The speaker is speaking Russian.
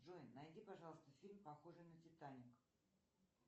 джой найди пожалуйста фильм похожий на титаник